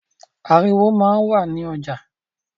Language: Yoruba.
Ariwo máa ń wà ní ọjà